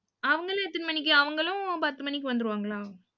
அவங்கெல்லாம் எத்தனை மணிக்கு? அவங்களும் பத்து மணிக்கு வந்திருவாங்களா?